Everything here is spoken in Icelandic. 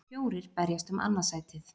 Fjórir berjast um annað sætið.